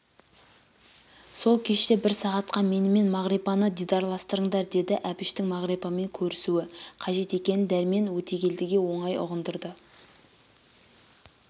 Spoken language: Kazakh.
сол кеште бір сағатқа менімен мағрипаны дидарластырыңдар деді әбіштің мағрипамен көрісуі қажет екенін дәрмен өтегелдіге оңай ұғындырды